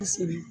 Kosɛbɛ